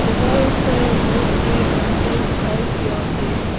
यहां पर बस के अंदर दिखाई दिया है।